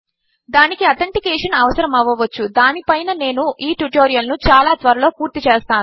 దానికి ఆథెన్టికేషన్ అవసరము అవ్వవచ్చు దాని పైనే నేను ఈ ట్యుటోరియల్ ను చాలా త్వరలో పూర్తి చేస్తాను